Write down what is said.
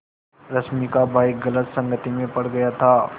रश्मि का भाई गलत संगति में पड़ गया था